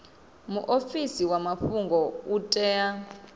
muofisi wa mafhungo u tea